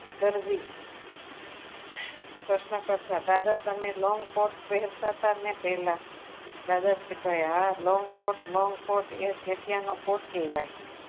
દરજી પ્રશ્નકર્તા દાદા તમે long coat પહેરતા હતા ને પહેલા દાદા કહે હા long coat long coat એ તો અત્યારનો coat કહેવાય.